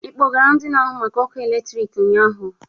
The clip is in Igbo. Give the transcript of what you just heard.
Ị kpọgara ndị na-ahụ maka ọkụ eletrik ụnyaahụ?